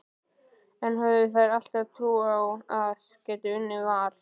En höfðu þær alltaf trú á að geta unnið Val?